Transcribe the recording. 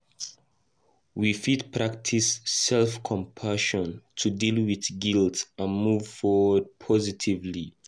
We fit practice self-compassion to deal with guilt and move forward positively.